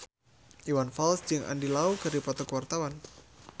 Iwan Fals jeung Andy Lau keur dipoto ku wartawan